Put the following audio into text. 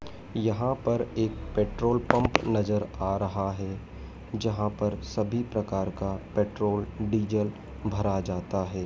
यहां पर एक पेट्रोल पंप नजर आ रहा है जहां पर सभी प्रकार का पेट्रोल डीजल भरा जाता है।